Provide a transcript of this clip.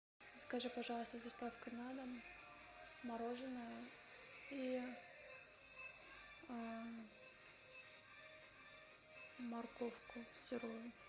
закажи пожалуйста с доставкой на дом мороженое и морковку сырую